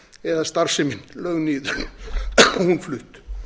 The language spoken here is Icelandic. eða starfsemi lögð niður og hún flutt